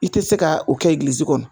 I tɛ se ka o kɛ kɔnɔ